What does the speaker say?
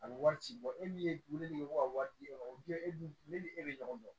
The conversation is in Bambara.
A bɛ wari ci bɔ e min ye ne de ye ko ka wari di e ma e dun ne ni e be ɲɔgɔn dɔn